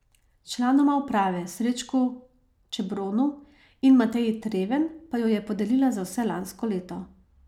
Članoma uprave Srečku Čebronu in Mateji Treven pa jo je podelila za vse lansko leto.